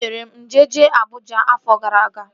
Ị mere njem jee Abụja afọ gara aga?